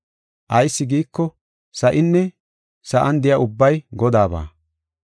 Ayis giiko, sa7inne sa7an de7iya ubbay Godaaba.